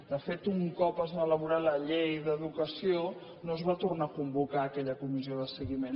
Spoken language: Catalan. de fet un cop es va elaborar la llei d’educació no es va tornar a convocar aquella comissió de seguiment